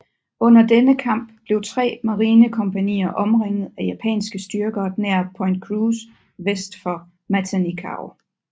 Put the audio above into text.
Under denne kamp blev tre marinekompagnier omringet af japanske styrker nær Point Cruz vest for Matanikau